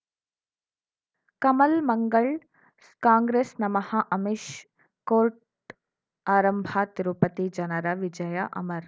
ಕಮಲ್ ಮಂಗಳ್ ಕಾಂಗ್ರೆಸ್ ನಮಃ ಅಮಿಷ್ ಕೋರ್ಟ್ ಆರಂಭ ತಿರುಪತಿ ಜನರ ವಿಜಯ ಅಮರ್